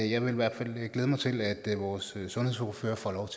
jeg vil i hvert fald glæde mig til at vores sundhedsordfører får lov